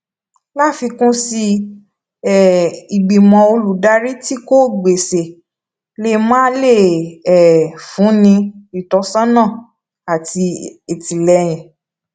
láfikún sí i um ìgbìmò olùdarí tí kò gbéṣé lè máà lè um fúnni ní ìtósónà àti ìtìléyìn